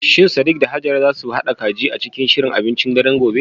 Shin Sadiq da Hajara za su haɗa kaji a cikin shirin abincin daren gobe?